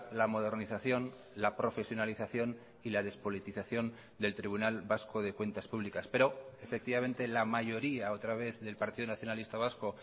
la modernización la profesionalización y la despolitización del tribunal vasco de cuentas públicas pero efectivamente la mayoría otra vez del partido nacionalista vasco